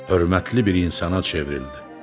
Hörmətli bir insana çevrildi.